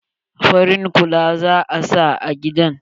Farin kala za'a sa a gidan.